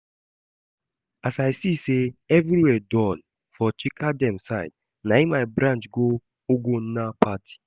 As I see say everywhere dull for Chika dem side, na im I branch go Ugonna party